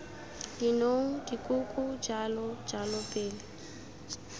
dinong dikoko jalo jalo pele